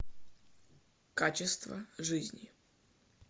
качество жизни